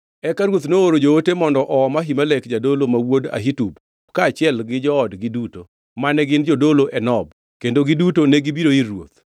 Eka ruoth nooro joote mondo oom Ahimelek jadolo ma wuod Ahitub kaachiel gi joodgi duto, mane gin jodolo e Nob, kendo giduto negibiro ir ruoth.